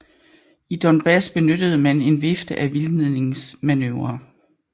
I Donbas benyttede man en vifte af vildledningsmanøvrer